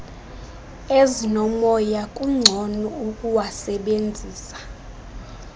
ezinomoya kungcono ukuwasebenzisa